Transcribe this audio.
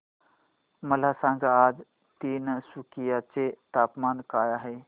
मला सांगा आज तिनसुकिया चे तापमान काय आहे